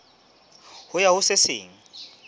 ho ya ho se seng